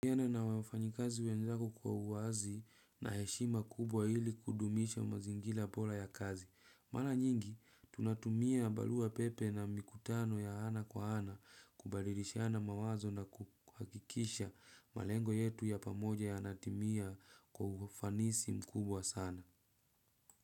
Na wafanyikazi wenzako kwa uwazi na heshima kubwa hili kudumisha mazingira bora ya kazi. Mara nyingi, tunatumia barua pepe na mikutano ya ana kwa ana kubadilishana mawazo na kuhakikisha malengo yetu ya pamoja yanatimia kwa ufanisi mkubwa sana.